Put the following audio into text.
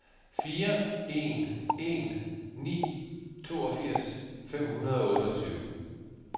fire en en ni toogfirs fem hundrede og otteogtyve